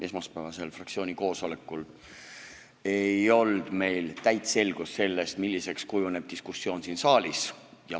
Esmaspäevasel fraktsiooni koosolekul ei olnud meil täit selgust selles, milliseks kujuneb diskussioon siin saalis.